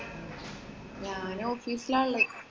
ഞാന്‍ office ലാ ഒള്ളത്.